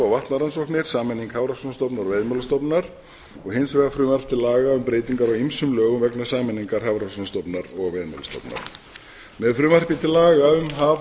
vatnarannsóknir sameining hafrannsóknastofnunar og veiðimálastofnunar og hins vegar frumvarp tillaga um breytingar á ýmsum lögum vegna sameiningar hafrannsóknastofnunar og veiðimálastofnunar með frumvarpi til laga um haf